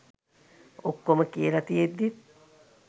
ඔක්කොම කියල තියෙද්දිත්